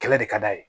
Kɛlɛ de ka d'a ye